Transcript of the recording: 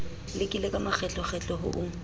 lekile ka makgetlokgetlo ho o